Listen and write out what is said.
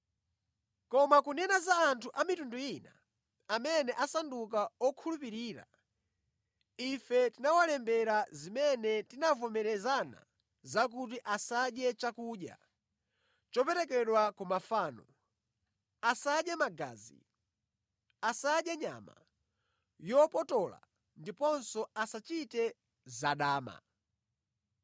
Koma kunena za anthu a mitundu ina amene asandulika okhulupirira, ife tinawalembera zimene tinavomerezana zakuti asadye chakudya choperekedwa ku mafano, asadye magazi, asadye nyama yopotola ndiponso asachite zadama.”